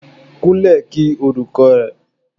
Kunle kí olùkọ́ rẹ.